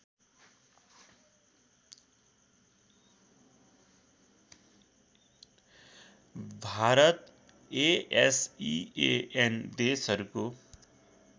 Bharat ASEAN देशहरूको